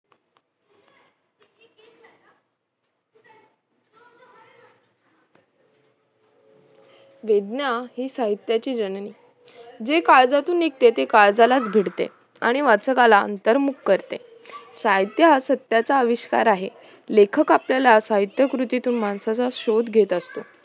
चेताना साहित्याची जणनी जे काळजातून निघते ते काळजाला भिडते आणि वाचकाला अंतरमुक्त करते साहित्य हा सत्याचा अविष्कार आहे लेखक आपल्याला साहित्य कृतीतून माणसाचा शोध घेत असतो